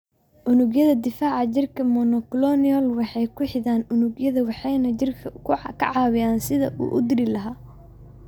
Unugyada difaaca jirka ee monoclonal waxay ku xidhaan unugyada waxayna jidhka ka caawiyaan sidii uu u dili lahaa.